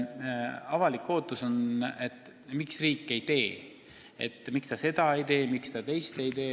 Avalikkus küsib, miks riik seda ei tee, miks ta teist ei tee.